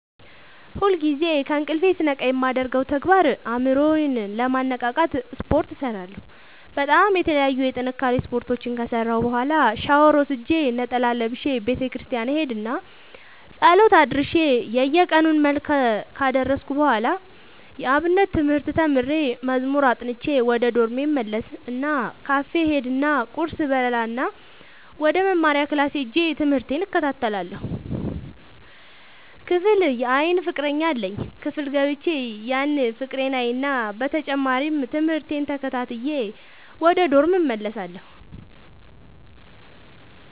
ሁልጊዜ ከእንቅልፎ ስነቃ የማደርገው ተግባር አእምሮ ዬን ለማነቃቃት ስፓርት እሰራለሁ በጣም የተለያዩ የጥንካሬ ስፓርቶችን ከሰራሁ በኋላ ሻውር ወስጄ ነጠላ ለብሼ ቤተክርስቲያን እሄድ እና ፀሎት አድርሼ የየቀኑን መልክአ ካደረስኩ በኋላ የአብነት ትምህርት ተምሬ መዝሙር አጥንቼ ወደ ዶርሜ እመለስ እና ካፌ እሄድ እና ቁርስ እበላእና ወደመማሪያክላስ ሄጄ ትምህቴን እከታተላለሁ። ክፍል የአይን ፍቀረኛ አለኝ ክፍል ገብቼ ያን ፍቅሬን አይና በተጨማሪም ትምህርቴን ተከታትዬ ወደ ዶርሜ እመለሳለሁ።